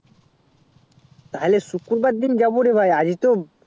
তাহলে শুকুরবারে দিন যাবো রে ভাই আজই তো